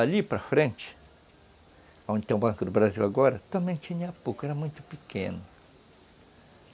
Ali para frente, onde tem o Banco do Brasil agora, também tinha pouco, era muito pequeno.